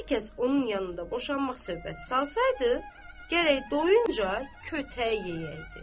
Hər kəs onun yanında boşanmaq söhbəti salsaydı, gərək doyunca kötək yeyəyirdi.